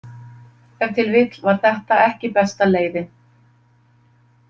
Ef til vill var þetta ekki besta leiðin.